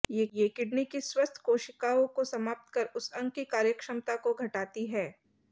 ये किडनी की स्वस्थ कोशिकाओं को समाप्त कर उस अंग की कार्यक्षमता को घटती है